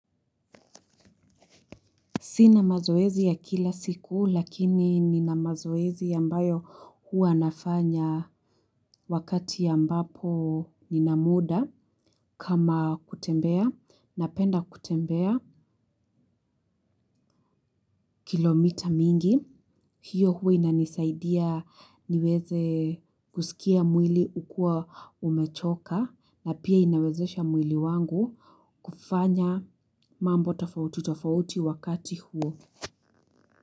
Sina mazoezi ya kila siku lakini nina mazoezi ambayo huwa nafanya wakati ambapo nina muda kama kutembea napenda kutembea kilomita mingi. Hiyo huwa inanisaidia niweze kusikia mwili hukuwa umechoka na pia inawezesha mwili wangu kufanya mambo tofauti tofauti wakati huo.